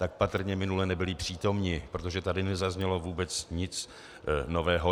Tak patrně minule nebyli přítomni, protože tady nezaznělo vůbec nic nového.